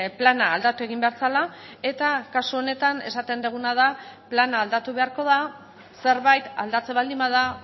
plana aldatu egin behar zela eta kasu honetan esaten duguna da plana aldatu beharko da zerbait aldatzen baldin bada